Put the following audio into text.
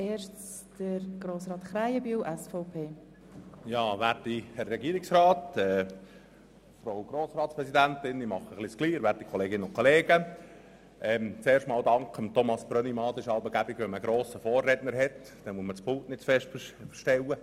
Ich danke Grossrat Brönnimann, denn es ist praktisch, wenn man einen grossgewachsenen Vorredner hat, dann braucht man das Pult nicht zu verstellen.